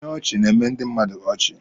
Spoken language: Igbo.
Ihe ọchị na-eme ndị mmadụ ọchị.